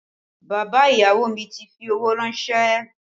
Bàbá ìyàwó mi ti fi owó rànsẹ́